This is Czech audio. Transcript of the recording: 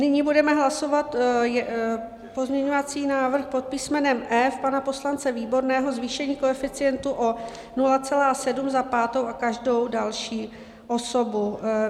Nyní budeme hlasovat pozměňovací návrh pod písmenem E pana poslance Výborného - zvýšení koeficientu o 0,7 za pátou a každou další osobu.